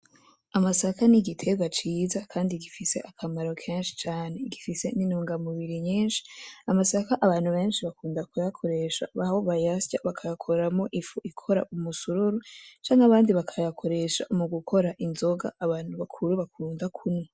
Amasaka n'igiterwa ciza Kandi gifise akamaro kenshi cane gifise nitungamubiri nyinshi , amasaka abantu benshi bakunda kuyikoresha aho bayasya bakayakoramwo ifu ikora umusururu , canke abandi bakayakoresha mugukora inzoga abantu bakuru bakunda kunwa .